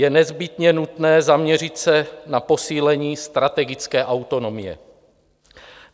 Je nezbytně nutné zaměřit se na posílení strategické autonomie.